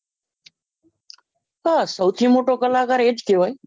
હા સૌથી મોટો કલાકાર એજ કહવાય